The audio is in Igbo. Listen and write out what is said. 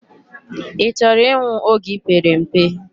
I choro inwu oge ipere mpe?